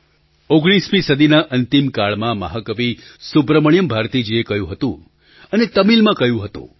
૧૯મી સદીના અંતિમ કાળમાં મહા કવિ સુબ્રમણ્યમ ભારતીજીએ કહ્યું હતું અને તમિલમાં કહ્યું હતું